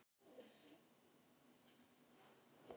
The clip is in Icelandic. Ég vökvaði blómin á Akranesi.